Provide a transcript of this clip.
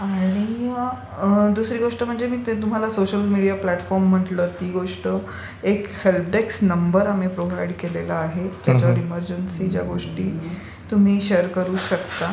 आणि दुसरी गोष्ट म्हणजे ते तुम्हाला सोशल मीडिया प्लॅटफॉर्म म्हंटलं एक हेल्पडेस्क नंबर आम्ही प्रोव्हाईड केलेला आहे. त्याच्यावर एमरजनसीच्या गोष्टी तुम्ही शेअर करू शकता.